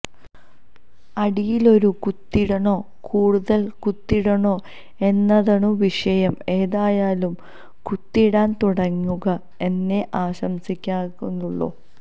അടിയില് ഒരു കുത്തിടണോ കൂടുതല് കുത്തിടണോ എന്നതണു വിഷയം ഏതായാലും കുത്തിടാന് തുടങ്ങുക എന്നേ ആശംസിക്കനാകുന്നുള്ളു